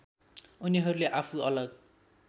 उनीहरूले आफू अलग